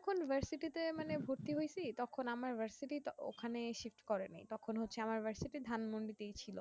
আমি যখন university তে মানে ভর্তি হয়েছি তখন আমার versity টা ওখানেই shift করে নাই তখন হচ্ছে আমার university ধানমন্ডি তেই ছিল